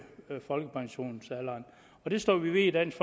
folkepensionsalderen og det står vi ved i dansk